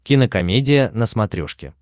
кинокомедия на смотрешке